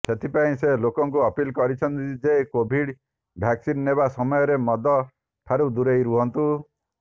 ସେଥିପାଇଁ ସେ ଲୋକଙ୍କୁ ଅପିଲ କରିଛନ୍ତି ଯେ କୋଭିଡ୍ ଭ୍ୟାକସିନ୍ ନେବା ସମୟରେ ମଦ ଠାରୁ ଦୁରେଇ ରୁହନ୍ତୁ